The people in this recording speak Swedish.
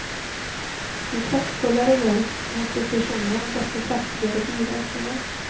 Ju kraftfullare hjälp mot depressionen, desto kraftigare biverkningar.